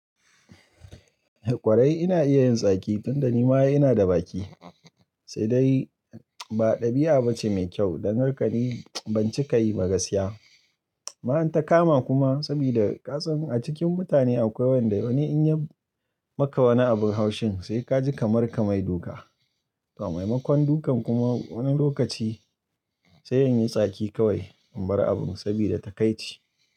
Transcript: Eh ƙwarai ina iya yin tsaki tunda ni ma ina da baki. Sai dai ba ɗabi'a bace mai kyau dan haka ne ban cika yi ba gasiya. Ma in ta kama kuma sabida kasan a cikin mutane akwai wanda wani in ya maka wani abun haushin sai kaji kamar ka mai duka. To maimakon dukan kuma wani lokaci sai in yi tsaki kawai in bar abun sabida takaici.